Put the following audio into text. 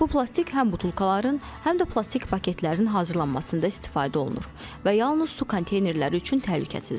Bu plastik həm butulkaların, həm də plastik paketlərin hazırlanmasında istifadə olunur və yalnız su konteynerləri üçün təhlükəsizdir.